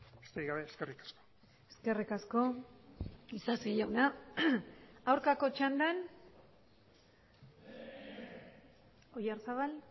besterik gabe eskerrik asko eskerrik asko isasi jauna aurkako txandan oyarzabal